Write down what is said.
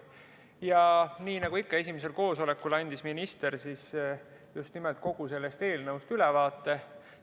Ja nii nagu ikka esimesel koosolekul, andis minister just nimelt kogu sellest eelnõust ülevaate.